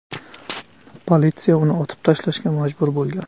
Politsiya uni otib tashlashga majbur bo‘lgan.